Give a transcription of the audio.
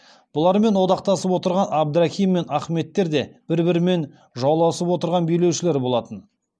бұлармен одақтасып отырған әбдірахим мен ахметтер де бір бірімен жауласып отырған билеушілер болатын